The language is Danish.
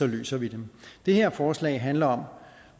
løser vi dem det her forslag handler om